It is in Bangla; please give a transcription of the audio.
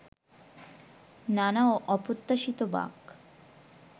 নানা অপ্রত্যাশিত বাঁক